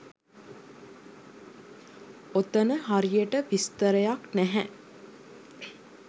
ඔතන හරියට විස්තරයක් නැහැ